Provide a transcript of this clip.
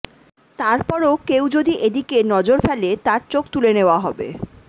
তারপরও কেউ যদি এদিকে নজর ফেলে তার চোখ তুলে নেওয়া হবে